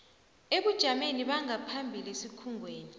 ebujameni bangaphambilini esikhungweni